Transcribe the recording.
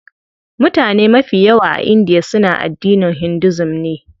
Mutane mafi yawa a india suna addinin Hinduism ne.